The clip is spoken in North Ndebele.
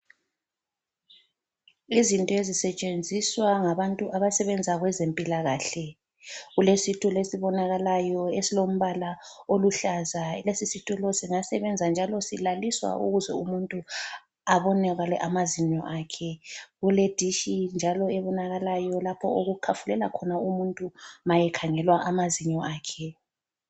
Izinto ezisetshenzizwa ngabantu abasebenza kwezempilakahle. Kulesitulo esibonakalayo esilombala oluhlaza. Lesi situlo singasebenza njalo silaliswa ukuze umuntu abonakale amazinyo akhe. Kule dishi njalo ebonakalayo lapho okukhafulela khona umuntu ma ekhangelwa amazinyo akhe.